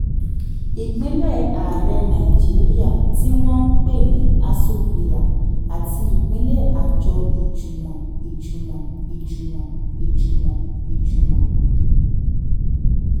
ìpínlé ààrẹ nàìjíríà tí wọ́n ń pè ní aso villa àti ìpínlé àjọ ìjùmọ̀ ìjùmọ̀ ìjùmọ̀ ìjùmọ̀ ìjùmọ̀